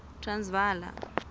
transvala